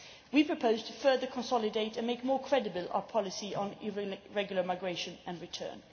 We propose to further consolidate and make more credible our policy on irregular migration and return.